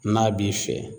N'a b'i fɛ